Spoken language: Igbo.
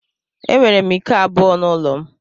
Enwere m iko abụọ n'ụlọ m.